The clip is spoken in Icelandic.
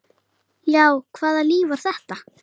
Já, hvaða líf var þetta?